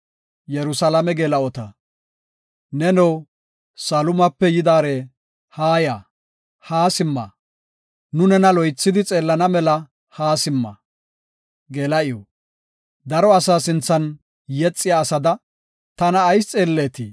Neno Sulaamape yidaare, haaya; haa simma; Nu nena loythidi xeellana mela haa simma. Geela7iw Daro asaa sinthan yexiya asada, tana ayis xeelleetii?